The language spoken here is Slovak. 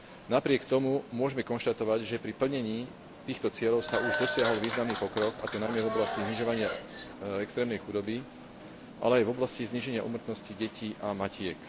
Napriek tomu môžeme konštatovať, že pri plnení týchto cieľov sa už dosiahol významný pokrok, a to najmä v oblasti znižovania extrémnej chudoby, ale aj v oblasti zníženia úmrtnosti detí a matiek.